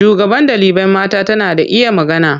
Shugaban ɗalibai mata tana da iya magana.